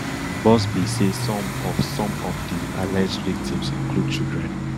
buzbee say some of some of di alleged victims include children